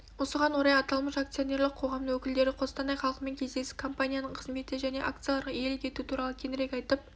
осыған орай аталмыш акционерлік қоғамның өкілдері қостанай халқымен кездесіп компанияның қызметі және акцияларға иелік ету туралы кеңірек айтып